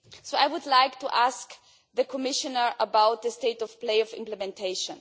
I would like to ask the Commissioner about the state of play of implementation.